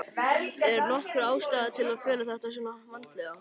Er nokkur ástæða til að fela þetta svona vandlega?